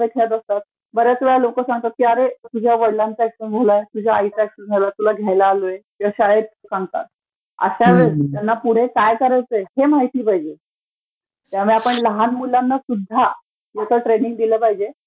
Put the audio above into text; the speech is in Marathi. खेळत असतात, बऱ्याचवेळा लोकं सांगतात की अरे तुझ्या वडीलांना ऍक्सिडंट झालाय, आईला ऍक्सिडंट झालयं तुला घ्यायला आलोय, वडिलांनी पाठवलयं आणि शाळेत सांगतात. आता ह्यांना पुढे काय करयाचं हे माहितीचं पाहिजे, त्यामुळे आपण लहान मुलांना सुध्दा